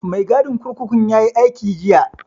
Mai gadin kurkukun yayi aiki jiya